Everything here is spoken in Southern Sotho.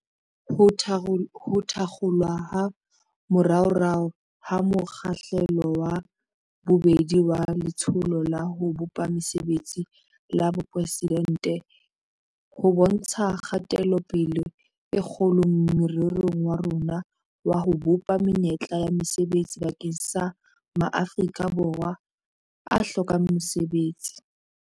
Ho thakgolwa ha moraorao ha mo kgahlelo wa bobedi waLetsholo la ho Bopa Mesebetsi la Boporeside nte ho bontsha kgatelopele e kgolo morerong wa rona wa ho bopa menyetla ya mesebetsi bakeng sa ma Afrika Borwa a hlokang mosebetsi.